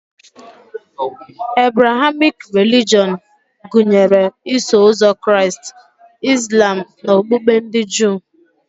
Ebrahamik relijọn gụnyere Iso ụzọ Kraịst, Izlam na okpukpe ndị Juu